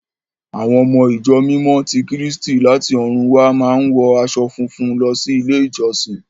À́wọn ọmọ Ìjọ Mímọ́ ti Kírísítì láti ọ̀run wá máa ń wọ aṣọ funfun lọ sí ilé-ìjọsìn.